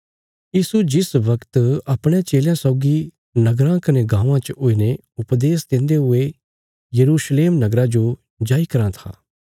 यीशु जिस वगत अपणयां चेलयां सौगी नगराँ कने गाँवां च हुईने उपदेश देन्दे हुये यरूशलेम नगरा जो जाई कराँ था